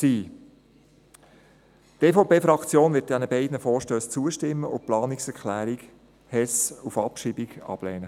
Die EVP-Fraktion wird den beiden Vorstössen zustimmen und die Planungserklärung Hess auf Abschreibung ablehnen.